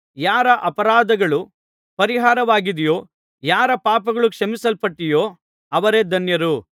ಯಾರ ಅಪರಾಧಗಳು ಪರಿಹಾರವಾಗಿದೆಯೋ ಯಾರ ಪಾಪಗಳು ಕ್ಷಮಿಸಲ್ಪಟ್ಟಿವೆಯೋ ಅವರೇ ಧನ್ಯರು